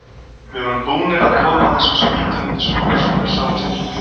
Við vorum búnir að koma þessum spýtum undir skúr svo þær sáust ekki.